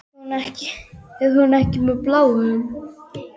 Er hún enn með Bláum?